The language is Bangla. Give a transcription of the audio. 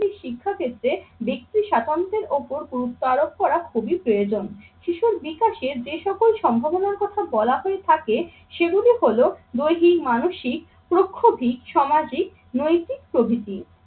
শিক্ষা ক্ষেত্রে ব্যক্তি স্বাতন্ত্র্যের ওপর গুরুত্ব আরোপ করা খুবই প্রয়োজন। শিশুর বিকাশে যে সকল সম্ভাবনার কথা বলা হয়ে থাকে সেগুলি হল দৈহিক, মানসিক, প্রক্ষতি, সামাজিক, নৈতিক প্রভৃতি।